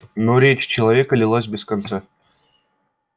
но речь человека лилась без конца